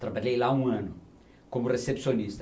Trabalhei lá um ano como recepcionista.